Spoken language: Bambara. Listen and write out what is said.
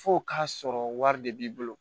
F'o k'a sɔrɔ wari de b'i bolo